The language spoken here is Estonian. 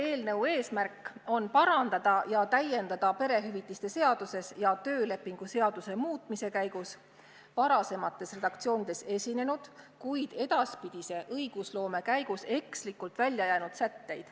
Selle eesmärk on parandada ja täiendada perehüvitiste seadust ja töölepingu seadust, kus osa sätteid on varasemates redaktsioonides esinenud, kuid edaspidise õigusloome käigus ekslikult välja jäänud.